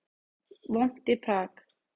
Vont í Prag